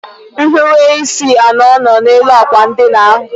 Nhiweisi anọ nọ n'elu àkwà ndina ahụ.